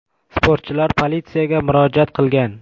Sportchilar politsiyaga murojaat qilgan.